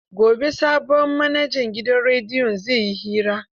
Gobe sabon manajan gidan rediyon zai yi hira.